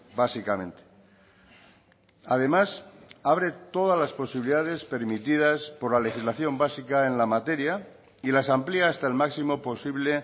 básicamente además abre todas las posibilidades permitidas por la legislación básica en la materia y las amplia hasta el máximo posible